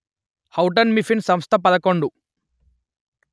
Houghton Mifflin సంస్థపదకొండు